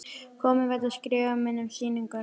Komin vegna skrifa minna um sýninguna.